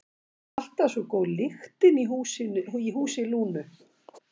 Alltaf svo góð lyktin í húsi Lúnu.